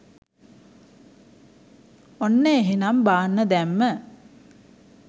ඔන්න එහෙනම් බාන්න දැම්ම